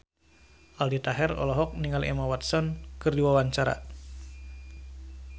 Aldi Taher olohok ningali Emma Watson keur diwawancara